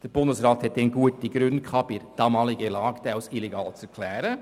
Der Bundesrat hatte bei der damaligen Lage gute Gründe, den Streik als illegal zu erklären.